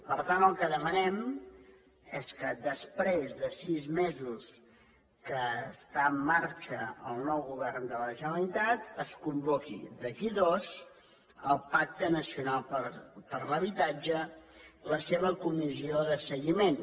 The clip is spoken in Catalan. per tant el que demanem és que després de sis mesos que està en marxa el nou govern de la generalitat es convoqui d’aquí a dos el pacte nacional per l’habitatge la seva comissió de seguiment